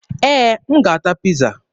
Ee, m ga-ata Piiza.